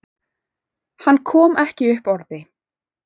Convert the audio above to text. Hann kom ekki upp orði.